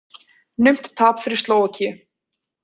Naumt tap fyrir Slóvakíu